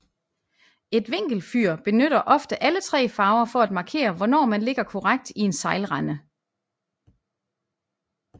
Et vinkelfyr benytter ofte alle tre farver for at markere hvornår man ligger korrekt i en sejlrende